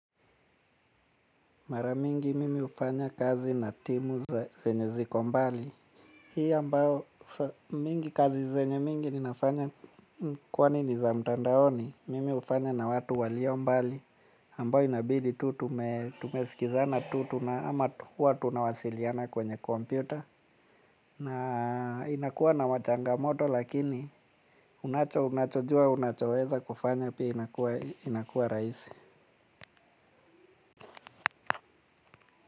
Mara mingi mimi hufanya kazi na timu za zenye ziko mbali. Hii ambayo mingi kazi zenye mingi ninafanya kwani ni za mtandaoni mimi hufanya na watu walio mbali ambao inabidi tu tumesikizana tu ama huwa tunawasiliana kwenye kompyuta. Na inakuwa na wachangamoto lakini unacho unachojua unachoweza kufanya pia inakuwa rahisi.